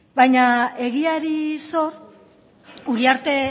egiari zor uriarte